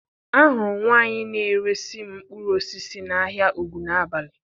Ahụrụ m nwaanyị na-eresi m mkpụrụ osisi n'ahịa Ogunabali.